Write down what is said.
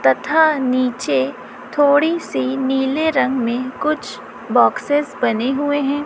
तथा नीचे थोड़ी सी नीले रंग में कुछ बॉक्सेस बने हुए हैं।